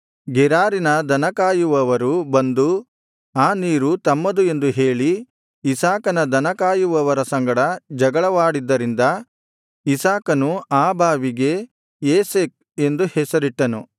ಗೆರಾರಿನ ದನ ಕಾಯುವವರು ಬಂದು ಆ ನೀರು ತಮ್ಮದು ಎಂದು ಹೇಳಿ ಇಸಾಕನ ದನ ಕಾಯುವವರ ಸಂಗಡ ಜಗಳವಾಡಿದ್ದರಿಂದ ಇಸಾಕನು ಆ ಬಾವಿಗೆ ಏಸೆಕ್ ಎಂದು ಹೆಸರಿಟ್ಟನು